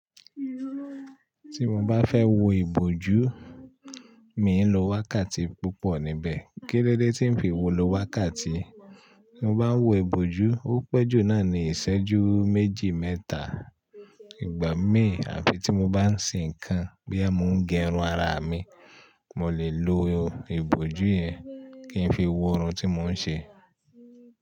Tí mo bá fẹ́ wo ìbòjú, mi n lo wákàtí púpọ̀ níbẹ̀. Kílódé tí n fi wo lo wákàtí? Mo bá ń wo ìbòjú, ó pẹ́ jù náà ní ìṣẹ́jú méjì mẹ́ta. Ìgbà mí àfi tí mo bá ń ṣe nǹkan bí mo ń gé irun ara mi, mo lè lo ìbòjú yẹn kí n fi wo irun tí mo n ṣe.